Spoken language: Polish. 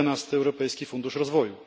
11. Europejski Fundusz Rozwoju.